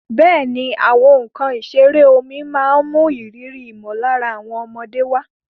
Bẹ́ẹ̀ni, àwọn nkan ìṣeré omi máa ń mú ìrírí ìmọ̀lára àwọn ọmọdé wá.